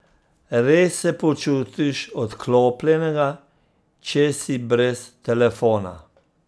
Res se počutiš odklopljenega, če si brez telefona.